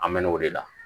An mɛn'o de la